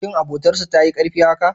Shin abotar su tayi karfi haka?